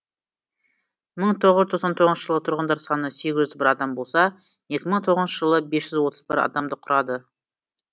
мың тоғыз жүз тоқсан тоғызыншы жылы тұрғындар саны сегіз жүз бр адам болса екі мың тоғызыншы жылы бес жүз отыз бір адамды құрады